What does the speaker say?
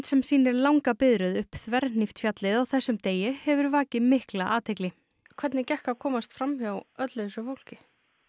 sem sýnir langa biðröð upp þvernhípt fjallið á þessum degi hefur vakið mikla athygli hvernig gekk að komast fram hjá öllu þessu fólki